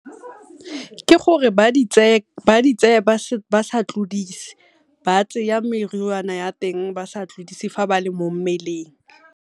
Ke gore ba di tseye ba sa tlodise batseye meriana ya teng ba sa tlodise fa ba le mo mmeleng.